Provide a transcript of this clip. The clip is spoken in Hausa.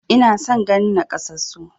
Ina son ganin maƙyassu